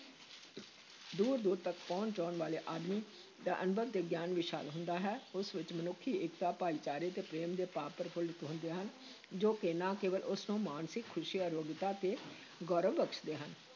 ਦੂਰ ਦੂਰ ਤੱਕ ਭਉਣ-ਚਉਣ ਵਾਲੇ ਆਦਮੀ ਦਾ ਅਨੁਭਵ ਤੇ ਗਿਆਨ ਵਿਸ਼ਾਲ ਹੁੰਦਾ ਹੈ, ਉਸ ਵਿੱਚ ਮਨੁੱਖੀ-ਏਕਤਾ, ਭਾਈਚਾਰੇ ਤੇ ਪ੍ਰੇਮ ਦੇ ਭਾਵ ਪ੍ਰਫੁੱਲਤ ਹੁੰਦੇ ਹਨ, ਜੋ ਕਿ ਨਾ ਕੇਵਲ ਉਸ ਨੂੰ ਮਾਨਸਿਕ ਖੁਸ਼ੀ, ਅਰੋਗਤਾ ਤੇ ਗੌਰਵ ਬਖਸ਼ਦੇ ਹਨ,